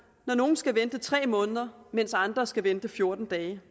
når nogle skal vente i tre måneder mens andre kun skal vente i fjorten dage